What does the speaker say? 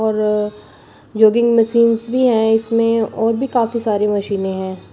और jogging machines भी है इसमें और भी काफी सारी मशीनें हैं।